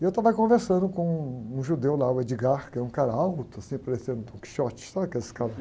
E eu estava conversando com um judeu lá, o, que é um cara alto, assim, parecendo dom quixote, sabe aqueles caras?